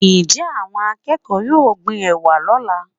njẹ awón akeko yọọ gbín ewá lola?